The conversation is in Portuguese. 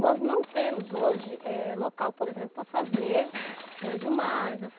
Nós não temos hoje, eh, local, por exemplo, para fazer prédio mais.